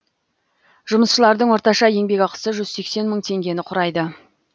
жұмысшылардың орташа еңбекақысы жүз сексен мың теңгені құрайды